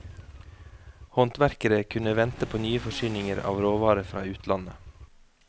Håndverkere kunne vente på nye forsyninger av råvarer fra utlandet.